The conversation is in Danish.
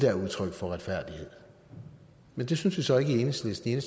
er udtryk for retfærdighed men det synes vi så ikke i enhedslisten i